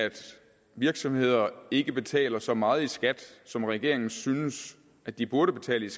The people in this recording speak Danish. virksomheder ikke betaler så meget i skat som regeringen synes at de burde betale